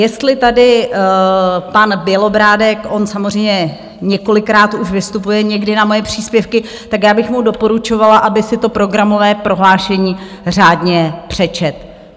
Jestli tady pan Bělobrádek, on samozřejmě několikrát už vystupuje někdy na moje příspěvky, tak já bych mu doporučovala, aby si to programové prohlášení řádně přečetl.